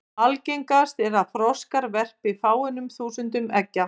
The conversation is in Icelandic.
Algengast er að froskar verpi fáeinum þúsundum eggja.